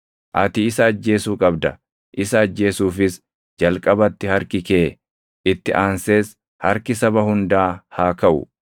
Ati isa ajjeesuu qabda. Isa ajjeesuufis jalqabatti harki kee, itti aansees harki saba hundaa haa kaʼu.